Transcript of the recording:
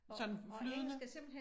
Sådan flydende